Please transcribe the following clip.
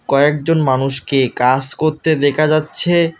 কয়েকজন মানুষকে কাস কত্তে দেখা যাচ্ছে।